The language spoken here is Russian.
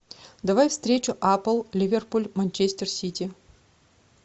давай встречу апл ливерпуль манчестер сити